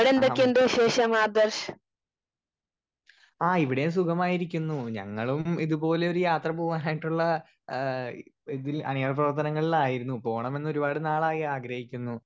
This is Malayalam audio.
സ്പീക്കർ 1 ആഹാ ആ ഇവിടേം സുഖമായിരിക്കുന്നു ഞങ്ങളും ഇതുപോലെ ഒരു യാത്ര പോവാനായിട്ടുള്ള ഏഹ് ഇതിൽ അണിയറ പ്രവർത്തനങ്ങളിലായിരുന്നു പോണമെന്ന് ഒരുപാട് നാളായി ആഗ്രഹിക്കുന്നു